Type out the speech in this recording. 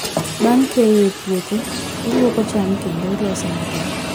Bang' keyo e puothe, ilwoko cham kendo ilose maber.